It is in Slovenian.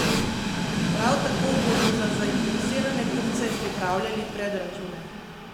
Prav tako bodo za zainteresirane kupce pripravljali predračune.